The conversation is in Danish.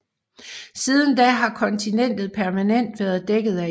Siden da har kontinentet permanent været dækket af is